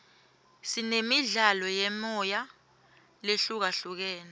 sinemidlalo yemoya lehlukahlukene